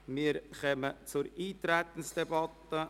Wir kommen zur Eintretensdebatte.